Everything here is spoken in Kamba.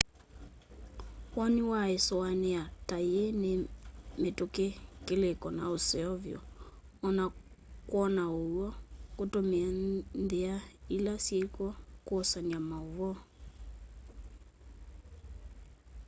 woni wa ĩsũanĩa ta yĩĩ nĩ mĩtũkĩ kĩlĩĩko na ũseo vyũ o na kwona ũw'o kũtũmĩa nthĩa ila syĩkw'o kwosanya maũvoo